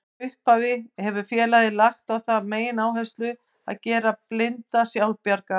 Frá upphafi hefur félagið lagt á það megináherslu að gera blinda sjálfbjarga.